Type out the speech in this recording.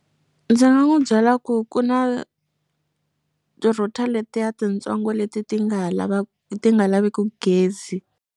Ndzi nga n'wu byela ku ku na ti-router letiya tintsongo leti ti nga lava ti nga laveku gezi.